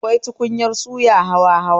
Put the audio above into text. Akwai tukunyar suya hawa hawa